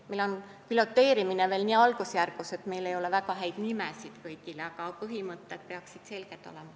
Meil on piloteerimine veel nii algusjärgus, et kõigele ei ole väga häid nimetusi, aga põhimõtted peaksid selged olema.